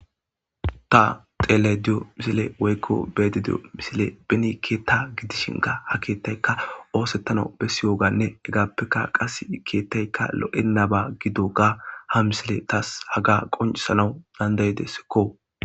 Ha xele diyo misile woykko beede diyo misile benikeeta gidishinka ha keettaykka oosettana bessi yooganne hegaappekka qas keettaykka lo7enaba gido ga ha misile taas haga qoncisanaw dandayidessekko